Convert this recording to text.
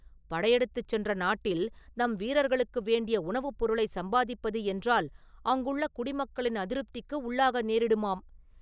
படையெடுத்துச் சென்ற நாட்டில் நம் வீரர்களுக்கு வேண்டிய உணவுப் பொருளை சம்பாதிப்பது என்றால், அங்குள்ள குடிமக்களின் அதிருப்திக்கு உள்ளாக நேரிடுமாம்.